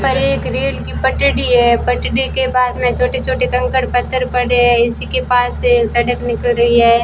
परे एक रेल की पटरी है पटरी के पास में छोटे छोटे कंकड़ पत्थर पड़े हैं इसी के पास से सड़क निकल रही है।